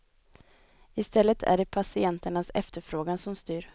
I stället är det patienternas efterfrågan som styr.